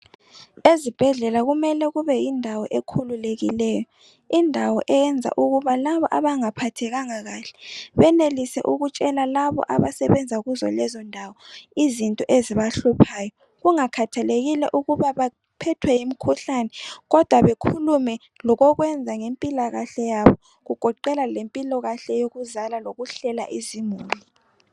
Ezibhedlela kumele kube yindawo ekhululekileyo, indawo eyanza ukubana labo abangaphathekanga kahle benelise ukutshela labo abasebenza kuzo lezo ndawo izinto ezibahluphayo kungakhathelekile ukuba baphethwe yimkhuhlane kodwa bekhulume lokokwenza ngempilakahle yabo kugoqela lempilakahle yokuzala lokuhlela izimuli.